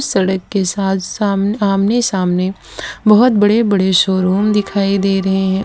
सड़क के साथ साम आमने सामने बहोत बड़े बड़े शोरूम दिखाई दे रहे हैं।